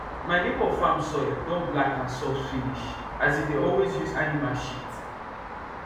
my neighbour farm soil don black and soft finish as e dey always use animal shit